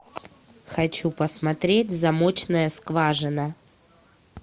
хочу посмотреть замочная скважина